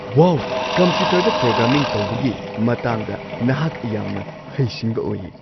ꯋꯥꯎ! ꯀꯝꯄ꯭ꯌꯨꯇꯔꯗ ꯄ꯭ꯔꯣꯒ꯭ꯔꯥꯃꯤꯡ ꯇꯧꯕꯒꯤ ꯃꯇꯥꯡꯗ ꯅꯍꯥꯛ ꯌꯥꯝꯅ ꯍꯩꯁꯤꯡꯕ ꯑꯣꯏꯌꯦ꯫